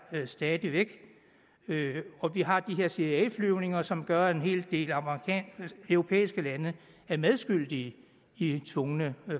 stadig væk og vi har de her cia flyvninger som gør en hel del europæiske lande medskyldige i tvungne